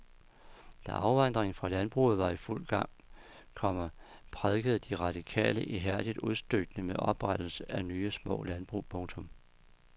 Da afvandringen fra landbruget var i fuld gang, komma prædikede de radikale ihærdigt udstykning med oprettelse af nye små landbrug. punktum